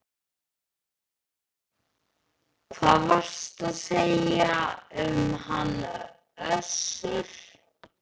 Hvað varstu að segja um hann Össur?